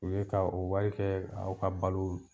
O ye ka o wari kɛ aw ka balo